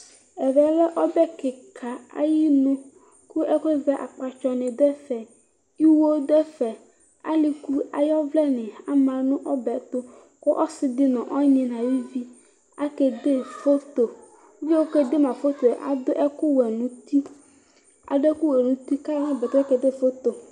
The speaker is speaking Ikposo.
Ɛvɛ lɛ ɔbɛ kika ayʋ inʋ kʋ akpatsɔ ni dʋ ɛfɛ iwo dʋ ɛfɛ ikʋ ayʋ ɔvlɛ ni ama nʋ ɔbɛ tʋ ɔsidi nʋ ɔnyi nʋ ayʋvi akede foto ʋvie kede la foto yɛ adʋ ɛkʋwɛ nʋ itʋ kʋ ayɔ kʋ ayɔ nʋ ɔbɛ tʋ kede foto